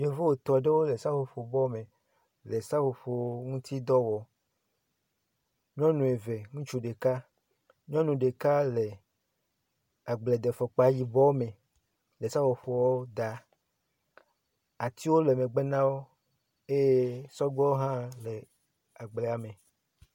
Yevu etɔ̃ aɖewo le seƒoƒobɔ me le seƒoƒo ŋuti dɔ wɔm. Nyɔnu eve ŋutsu ɖeka. Nyɔnu ɖeka le agbledefɔ yibɔ me le seƒoƒoa daa. Atiwo le megbe na wo eye sɔgbewo hã le agblea me.